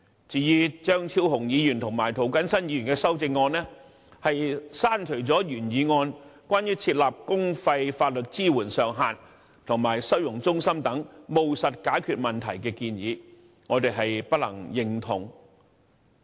至於張超雄議員及涂謹申議員的修正案，刪除了原議案有關設立公費法律支援上限及收容中心等務實解決問題的建議，我們不能認同。